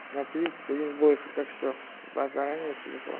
на тридцать один больше так что вас заранее телефон